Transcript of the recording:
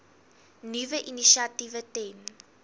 nuwe initiatiewe ten